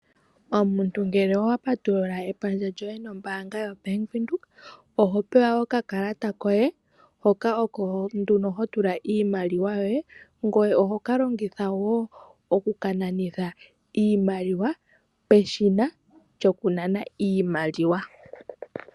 Omuntu uuna wa patulula epandja nombaanga yoBank Windhoek oho pewa okakalata koye hoka oko ho tula iimaliwa, ngoye oho ka longitha wo okukananitha iimaliwa peshina lyokunana iimaliwa.